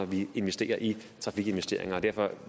vi investerer i trafikken derfor